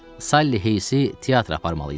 Salli Heysi teatra aparmalıydım.